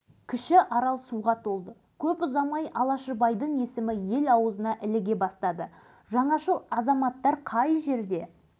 тек ізденіс пен ыждаһат керек жасыратыны жоқ оларды біздің арзан шикізатымыз қызықтырады бұл пікірін ол қазір